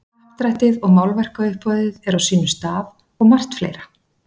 Happdrættið og málverkauppboðið er á sínum stað og margt fleira.